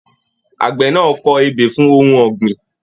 Àgbẹ̀ náà kọ ebè fún ohùn ọ̀gbìn.